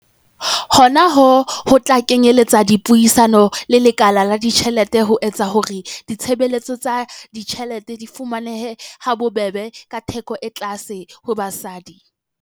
Hona ho tla kenyeletsa dipuisano le lekala la ditjhelete ho etsa hore ditshebeletso tsa ditjhelete di fumanehe ha bobebe ka theko e tlase ho basadi.